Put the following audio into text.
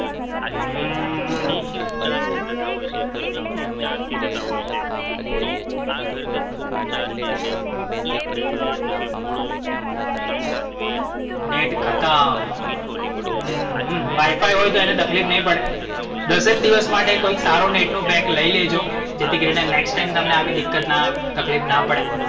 Net ખત્મ. હમ WIFI હોય એને તકલીફ નૈ પડે. દસેક દિવસ માટે કોઈક સારું નેટ નું pack લઈ લેજો. જેથી કરીને next time તમને આવી દિક્કત ના આવે, તકલીફ ના પડે.